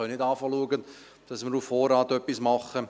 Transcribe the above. Wir können nicht auf Vorrat etwas tun.